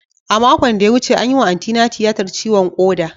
A makon da ya wuce, an yi wa Antina tiyatar ciwon koda.